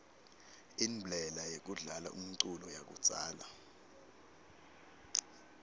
inblela yekudlala umculo yakudzala